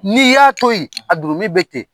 N'i y'a to yen,a jurumi bɛ ten.